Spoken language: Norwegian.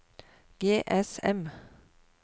GSM